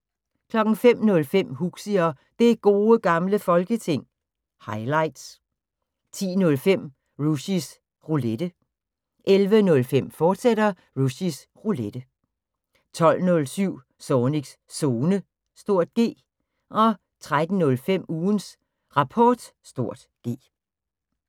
05:05: Huxi og Det Gode Gamle Folketing – highlights 10:05: Rushys Roulette 11:05: Rushys Roulette, fortsat 12:07: Zornigs Zone (G) 13:05: Ugens Rapport (G)